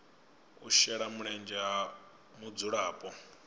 u shela mulenzhe ha mudzulapo